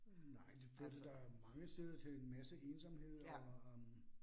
Nej, det førte da mange steder til en masse ensomhed og øh